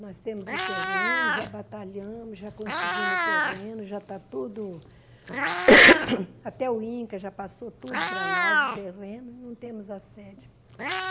Nós temos o terreno, já batalhamos, já conseguimos o terreno, já está tudo... Até o Inca já passou tudo para nós, o terreno, e não temos a sede.